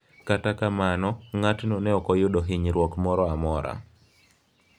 Kata kamano, ng’atno ne ok oyudo hinyruok moro amora.